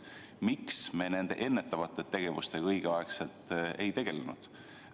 Miks me õigel ajal ennetava tegevusega ei tegelnud?